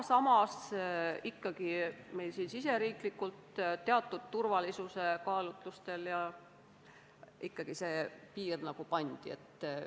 Samas meil siin riigisiseselt teatud turvalisuskaalutlustel see piir ikkagi pandi.